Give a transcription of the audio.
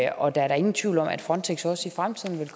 og det er da ingen tvivl om at frontex også i fremtiden vil